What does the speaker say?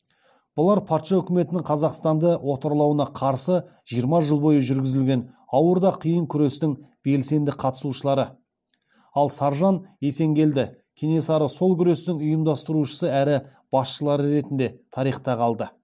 бұлар патша өкіметінің қазақстанды отарлауына қарсы жиырма жыл бойы жүргізілген ауыр да қиын күрестің белсенді қатысушылары ал саржан есенгелді кенесары сол күрестің ұйымдастырушысы әрі басшылары ретінде тарихта қалды